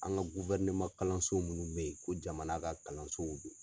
An ka kalanso munnu bɛ ye ko jamana ka kalansow do.